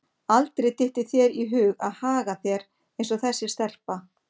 Aldrei dytti þér í hug að haga þér eins og þessi stelpa.